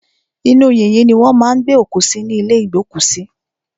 Inú yìnyín ni wọ́n má a ń gbé òkú sí ní ìlé ìgbókùsí.